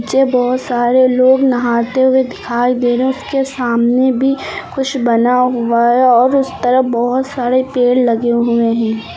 चे बहुत सारे लोग नहाते हुए दिखाई दे रहे हैं उसके सामने भी कुछ बना हुआ है और उस तरफ बहुत सारे पेड़ लगे हुए हैं।